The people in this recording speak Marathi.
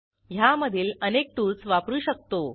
ह्यामधील अनेक टूल्स वापरू शकतो